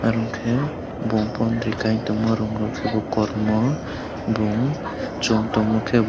hingke bong bomti kaiyang tongma rong rok kormo bong chong tongma kebo.